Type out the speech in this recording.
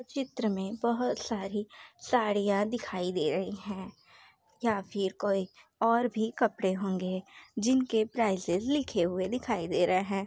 चित्र में बहुत साड़ी साड़ियां दिखाई दे रही है या फिर कोई और भी कपड़े होंगे जिनके प्राइसेस लिखे हुए दिखाई दे रहे हैं।